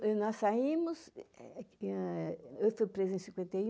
Bom, nós saímos... Eu fui presa em cinquenta e um...